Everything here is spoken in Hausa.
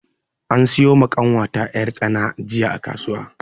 An siyo ma ƙanwata yar' tsana jiya a kasuwa.